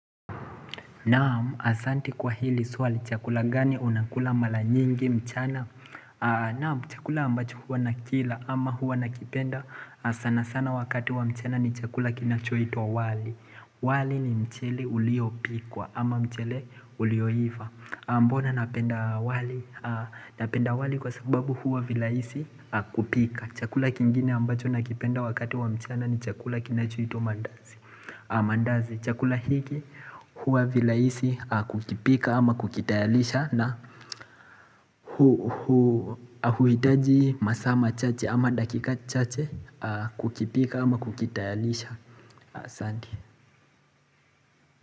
Naam asanti kwa hili suali chakula gani unakula mala nyingi mchana Naam chakula ambacho hua nakila ama hua nakipenda sana sana wakati wa mchana ni chakula kinacho itwa wali wali ni mchili ulio pikwa ama mchele ulio iva Mbona napenda wali, napenda wali kwa sababu hua vilaisi kupika chakula kingine ambacho nakipenda wakati wa mchana ni chakula kinachoitwa mandazi Amandazi chakula hiki huwa vilaisi kukipika ama kukitayalisha na huwitaji masaa ma chache ama dakika chache kukipika ama kukitayalisha asante.